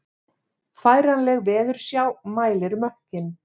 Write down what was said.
Færanleg veðursjá mælir mökkinn